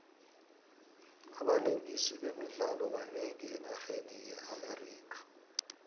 abalingisi bemidlalo banengi enarheni ye amerika